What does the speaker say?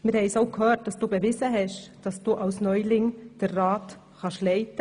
Wie wir bereits gehört haben, hast du bewiesen, dass du auch als Ratsneuling den Rat leiten kannst;